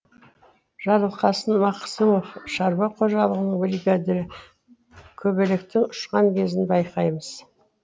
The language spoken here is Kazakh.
жарылқасын мақсымов шаруа қожалығының бригадирі көбелектің ұшқан кезін байқаймыз